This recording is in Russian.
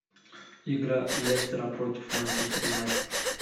игра лестера против манчестер юнайтед